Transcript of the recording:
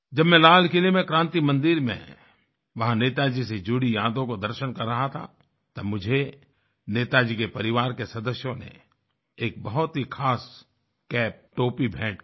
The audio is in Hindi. जब मैं लाल किले में क्रान्ति मंदिर में वहाँ नेताजी से जुड़ी यादों के दर्शन कर रहा था तब मुझे नेताजी के परिवार के सदस्यों ने एक बहुत ही ख़ास कैप टोपी भेंट की